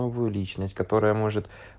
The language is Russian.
новую личность которая может